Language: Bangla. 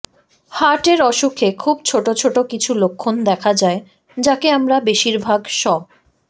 হার্টের অসুখে খুব ছোট ছোট কিছু লক্ষণ দেখা যায় যাকে আমরা বেশিরভাগ স